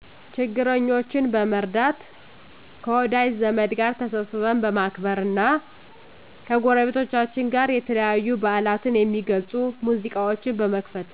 ችግረኞችን በመርዳት ከወዳጅ ዘመድ ጋር ተሰብስበን በማክበር እና ከጎረቤቶቻችን ጋር የተለያዩ በዓላትን የሚገልፁ ሙዚቃዎች በመክፈት